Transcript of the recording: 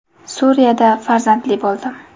Suriyada farzandli bo‘ldim.